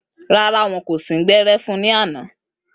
Rárá, wọn kò sín gbẹ́rẹ́ fun ní àná